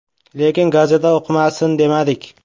Lekin gazeta o‘qimasin, demadik.